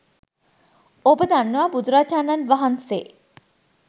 ඔබ දන්නවා බුදුරජාණන් වහන්සේ